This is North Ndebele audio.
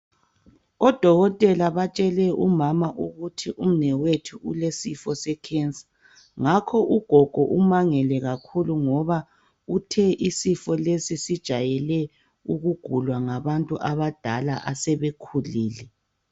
Odokotela batshele umama ukuthi umnewethu ulesifo secancer. Ngakho ugogo umangele kakhulu. Uthe isifo lesi, sijayele ukugulwa ngabantu abadala. Asebekhulile. .